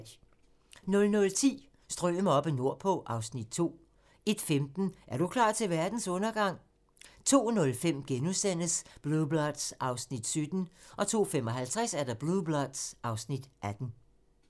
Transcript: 00:10: Strømer oppe nordpå (Afs. 2) 01:15: Er du klar til verdens undergang? 02:05: Blue Bloods (Afs. 17)* 02:55: Blue Bloods (Afs. 18)